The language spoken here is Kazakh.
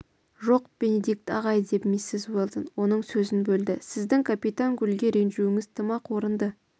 жоқ бенедикт ағай деп миссис уэлдон оның сөзін бөлді сіздің капитан гульге ренжуіңіз тым-ақ орынды